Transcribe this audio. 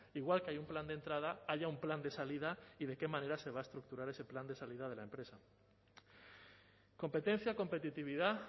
igual que hay un plan de entrada haya un plan de salida y de qué manera se va a estructurar ese plan de salida de la empresa competencia competitividad